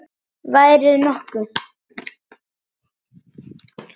Værirðu nokkuð.